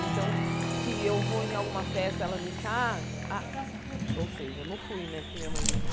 Então, se eu vou em alguma festa e ela não está ah... Ou seja, eu não fui né, porque minha mãe não está.